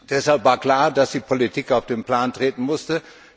Deshalb war klar, dass die Politik auf den Plan treten musste.